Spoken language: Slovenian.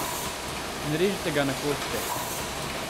Ne režite ga na koščke!